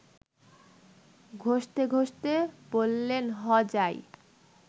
ঘসতে ঘসতে বলেন–হ যাই